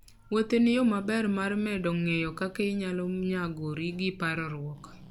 Wuoth en yo maber mar medo ng'eyo kaka inyalo nyagori gi parruok.